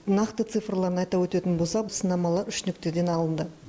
нақты цифрларын айта өтетін болсақ сынамалар үш нүктеден алынды